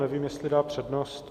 Nevím, jestli dá přednost.